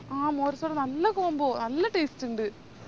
ആഹ് മോരും സോഡയെല്ലാം നല്ല combo നല്ല taste ഇണ്ട്